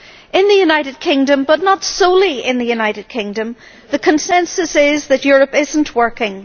In the United Kingdom but not solely in the United Kingdom the consensus is that Europe is not working.